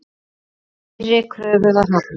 Þeirri kröfu var hafnað.